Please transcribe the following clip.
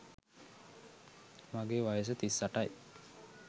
මගේ වයස තිස් අටයි.